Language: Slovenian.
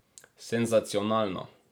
Senzacionalno.